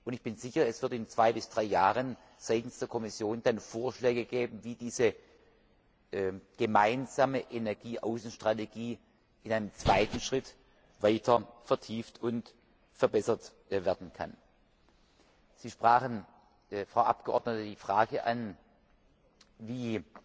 Ich bin sicher, es wird in zwei bis drei Jahren seitens der Kommission dann Vorschläge geben, wie diese gemeinsame Energieaußenstrategie in einem zweiten Schritt weiter vertieft und verbessert werden kann. Sie sprachen die Frage an, wie